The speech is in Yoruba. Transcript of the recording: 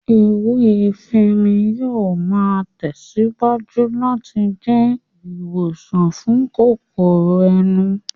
Ewé efinrin yóò máa tẹ̀síwájú láti máa jẹ́ ìwòsàn fún kòkòrò ẹnu